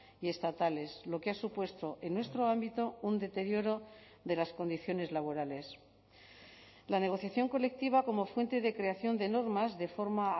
y estatales lo que ha supuesto en nuestro ámbito un deterioro de las condiciones laborales la negociación colectiva como fuente de creación de normas de forma